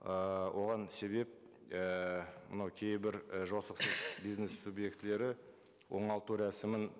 ы оған себеп ііі мынау кейбір і жосықсыз бизнес субъектілері оңалту рәсімін